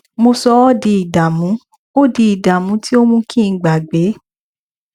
mo sọ ọ di ìdààmú ọ di ìdààmú tí ó mú kí n gbàgbé